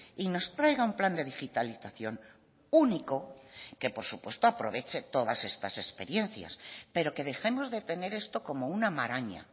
y nos traiga un plan de digitalización único que por supuesto aproveche todas estas experiencias pero que dejemos de tener esto como una maraña